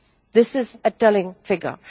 This is a telling figure.